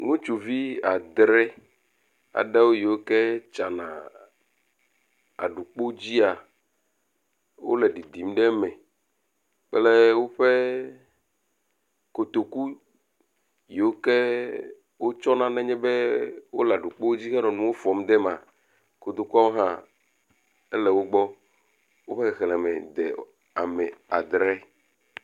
Ŋutsuvi adre aɖewo yiwo ke tsana aɖukpo dzia, wole ɖiɖim ɖe eme kple woƒe kotoku yiwo ke wotsɔna nenye be wole aɖukpo dzi hele nuwo fɔm de emea. Kotokuawo hã ele wo gbɔ, woƒe xexlẽme le adre.